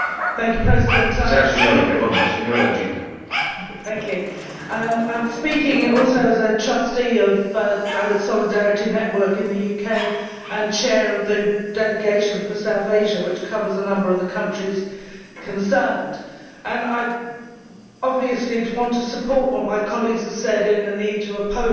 Mr President, I am speaking also as a trustee of Solidarity Network in the UK and chair of the Delegation for South Asia, which covers a number of the countries concerned. I obviously want to support what my colleagues have said about the need to oppose